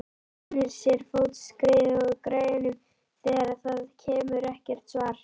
Rennir sér fótskriðu að græjunum þegar það kemur ekkert svar.